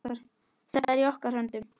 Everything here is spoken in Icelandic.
Þetta er í okkar höndum.